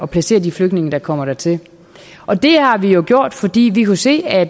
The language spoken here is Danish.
placere de flygtninge der kommer dertil og det har vi jo gjort fordi vi kunne se at